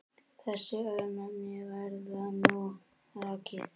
Þessi örnefni verða nú rakin